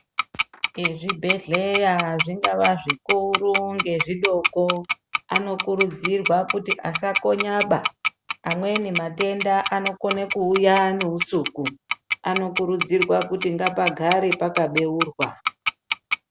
Ezvibhehleya zvingava zvikuru ngezvidoko, anokurudzirwa kuti asakonyaba, amweni matenda anokone kuuya neusuku. Anokurudzirwa kuti ngapagare pakabeurwa.